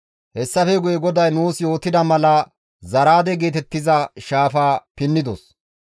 Hessafe guye GODAY nuus yootida mala Zaraade geetettiza shaafaa pinnidos.